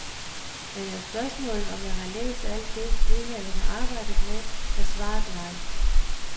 Men er spørgsmålet, om jeg har læst alt det, udvalget har arbejdet med, er svaret nej.